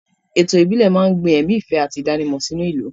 Ètò ìbílẹ̀ máa ń gbin ẹ̀mí ìfẹ́ àti ìdánimọ̀ sínú ìlú.